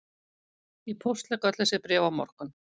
Ég póstlegg öll þessi bréf á morgun